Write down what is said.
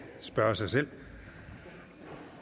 spørge sig selv